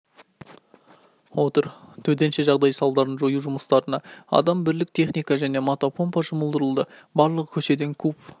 отыр төтенше жағдай салдарын жою жұмыстарына адам бірлік техника және мотопомпа жұмылдырылды барлығы көшеден куб